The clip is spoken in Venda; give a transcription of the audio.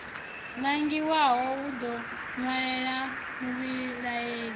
nangiwaho u ḓo ṅwalela muvhilaeli